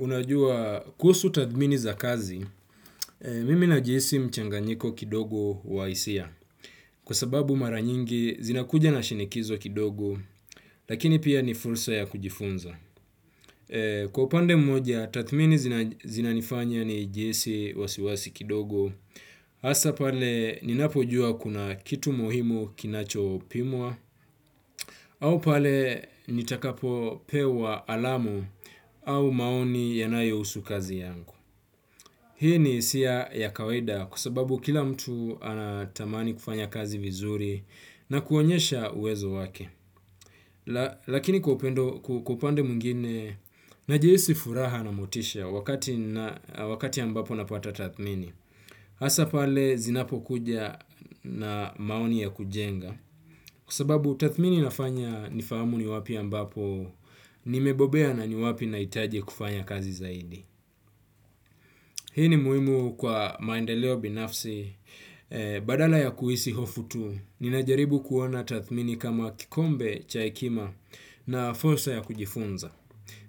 Unajua kuhusu tathmini za kazi, mimi najihisi mchanganyiko kidogo wa hisia. Kwa sababu maranyingi zinakuja na shinikizo kidogo, lakini pia ni fulsa ya kujifunza. Kwa pande mmoja tathmini zinanifanya nijihisi wasiwasi kidogo hasa pale ninapo jua kuna kitu muhimu kinacho pimwa au pale nitakapo pewa alarmu au maoni kuhusu kazi yangu. Hii ni hisiya ya kawaida kwa sababu kila mtu anatamani kufanya kazi vizuri na kuonyesha uwezo wake. Lakini kwa upande mwingine najihisi furaha na motisha wakati mbapo napata tathmini. Hasa pale zinapo kuja na maoni ya kujenga kwa sababu tathmini inafanya nifahamu ni wapi mbapo nimebobea na ni wapi nahitaje kufanya kazi zaidi. Hii ni muimu kwa maendeleo binafsi. Badala ya kuhisi hofu tu, ninajaribu kuoana tathmini kama kikombe cha hekima na fursa ya kujifunza.